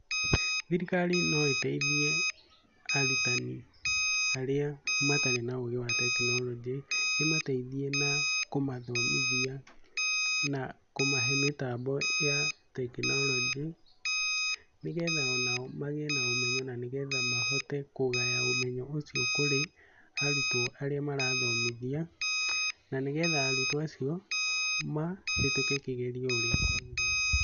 Thirikari no ĩteithie arutani arĩa matarĩ na ũgĩ wa tekinoronjĩ ĩmateithie na kũmathomithia na kũmahe mĩtambo ya tekinoronjĩ nĩgetha ona o magĩe na ũmenyo nĩgetha mahote kũgaya ũmenyo ũcio kũrĩ arutwo arĩa marathomithia na nĩgetha arutwo acio mahetuke kĩgeranio ũria kwagĩrĩire.